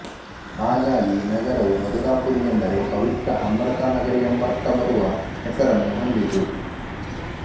ಹಾಗಾಗಿ ನಗರವು ಮಧುರಾಪುರಿ ಎಂದರೆ ಪವಿತ್ರ ಅಮೃತ ನಗರಿ ಎಂಬರ್ಥ ಬರುವ ಹೆಸರನ್ನು ಹೊಂದಿತು